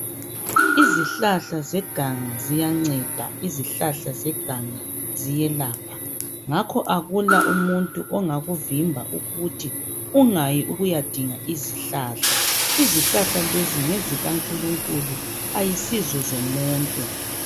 Izihlahla zeganga ziyanceda, izihlahla zeganga ziyelapha. Ngakho akula umuntu ongakuvimba ukuthi ungayi ukuyadinga izihlahla. izihlahla lezi ngezikankulunkulu ayisizo zomuntu.